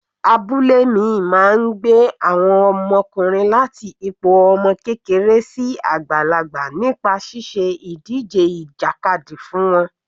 Abúlé mi máa gbé àwọn ọmọkùnrin láti ipò ọmọ kékeré sí àgbàlagbà nípa ṣíṣe ìdíje ìjàkadì fún wọn.